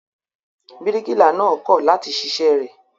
Bíríkìlà náà kọ̀ láti ṣiṣẹ́ rẹ̀.